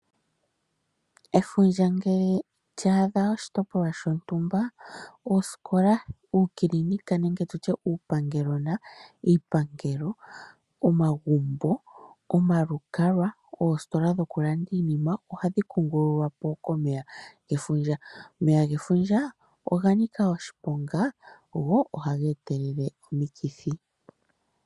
Efundja ngele lya adha oshitopolwa shontumba, oosikola, uukilinika nenge uupangelogona, iipangelo, omagumbo, omagumbo, oositola dhokulanda iinima ohadhi kungululwa po komeya gefundja. Omeya gefundja oga nika oshiponga go ohaga etelele omikithi.